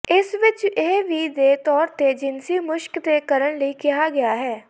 ਇਸ ਵਿਚ ਇਹ ਵੀ ਦੇ ਤੌਰ ਤੇ ਜਿਨਸੀ ਮੁਸ਼ਕ ਤੇ ਕਰਨ ਲਈ ਕਿਹਾ ਗਿਆ ਹੈ